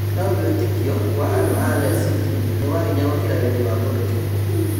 "No-wĩtĩkio wa-andũ a-Yazidi nĩ wa-hinya gũkĩra wendi wa mũndũ kĩumbe.